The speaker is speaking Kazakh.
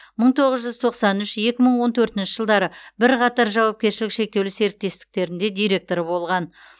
мың тоғыз жүз тоқсан үш екі мың он төртінші бір жылдары қатар жауапкершілігі шектеулі серіктестіктерінде директоры болған